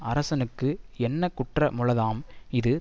அரசனுக்கு என்ன குற்ற முளதாம் இது